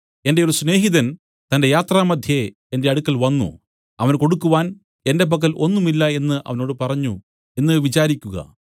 എന്റെ ഒരു സ്നേഹിതൻ തന്റെ യാത്രാമദ്ധ്യേ എന്റെ അടുക്കൽ വന്നു അവന് കൊടുക്കുവാൻ എന്റെ പക്കൽ ഒന്നും ഇല്ല എന്നു അവനോട് പറഞ്ഞു എന്ന് വിചാരിക്കുക